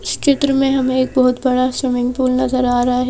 इस चित्र में हमे एक बहोत बड़ा स्विमिंग पूल नजर आ रहा है।